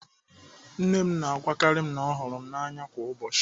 Nne m na-agwakarị m na ọ hụrụ m n'anya kwa ụbọchị.